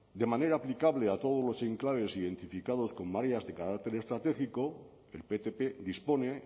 de manera aplicable a todos los enclaves identificados con medidas de carácter estratégico el ptp dispone